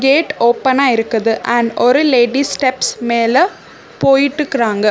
Gate ஓப்பனா இருக்குது and ஒரு லேடி ஸ்டெப்ஸ் மேல போயிட்டுக்குறாங்க.